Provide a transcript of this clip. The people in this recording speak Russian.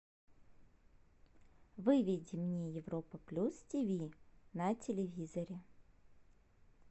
выведи мне европа плюс тв на телевизоре